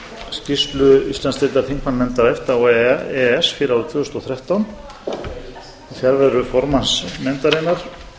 skýrslu íslandsdeildar þingmannanefnda efta og e e s fyrir árið tvö þúsund og þrettán í fjarveru formanns nefndarinnar